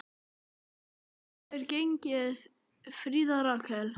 Hvernig hefur gengið, Fríða Rakel?